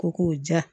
Ko k'o ja